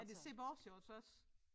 Er det zip-off shorts så også